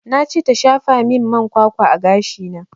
Na ce ta shafa min man kwakwa a gashi na